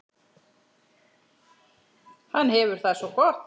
Hann hefur það svo gott.